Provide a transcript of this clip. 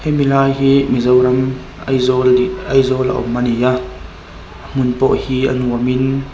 hemi lai hi mizoram aizawl ni aizawla awm a ni a a hmun pawh hi a nuam in--